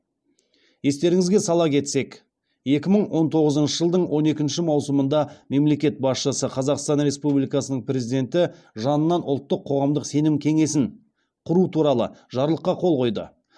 естеріңізге сала кетсек екі мың он тоғызыншы жылдың он екінші маусымында мемлекет басшысы қазақстан республикасының президенті жанынан ұлттық қоғамдық сенім кеңесін құру туралы жарлыққа қол қойды